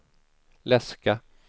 läska